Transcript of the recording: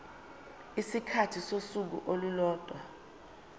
isikhathi sosuku olulodwa